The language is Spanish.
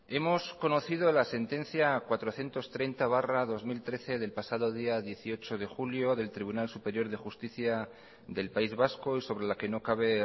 hemos conocido la sentencia cuatrocientos treinta barra dos mil trece del pasado día dieciocho de julio del tribunal superior de justicia del país vasco y sobre la que no cabe